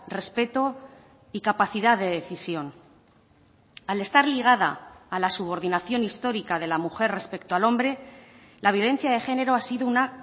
respeto y capacidad de decisión al estar ligada a la subordinación histórica de la mujer respecto al hombre la violencia de género ha sido una